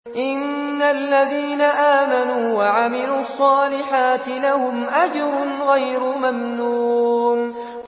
إِنَّ الَّذِينَ آمَنُوا وَعَمِلُوا الصَّالِحَاتِ لَهُمْ أَجْرٌ غَيْرُ مَمْنُونٍ